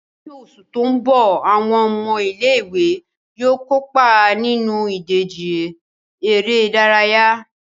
Ní oṣù tó ń bọ̀, àwọn ọmọ ilé ìwé yóò kópa nínú ìdíje eré ìdárayá